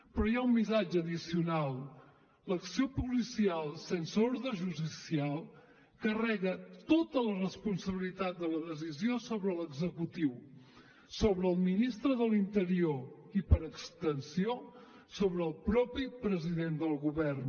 però hi ha un missatge addicional l’acció policial sense ordre judicial carrega tota la responsabilitat de la decisió sobre l’executiu sobre el ministre de l’interior i per extensió sobre el mateix president del govern